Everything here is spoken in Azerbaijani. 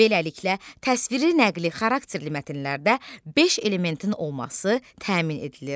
Beləliklə, təsviri-nəqli xarakterli mətnlərdə beş elementin olması təmin edilir.